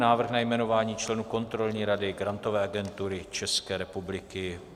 Návrh na jmenování členů Kontrolní rady Grantové agentury České republiky